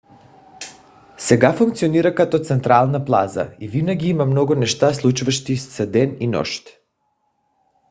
сега функционира като централна плаза и винаги има много неща случващи се ден и нощ